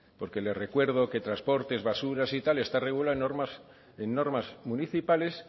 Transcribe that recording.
porque le recuerdo que transportes basuras y tal está regulado normas municipales